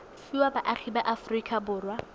fiwa baagi ba aforika borwa